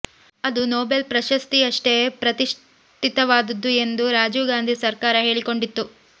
ಅದು ನೊಬೆಲ್ ಪ್ರಶಸ್ತಿಯಷ್ಟೇ ಪ್ರತಿಷ್ಠಿತವಾದದ್ದು ಎಂದು ರಾಜೀವ್ ಗಾಂಧಿ ಸರ್ಕಾರ ಹೇಳಿಕೊಂಡಿತ್ತು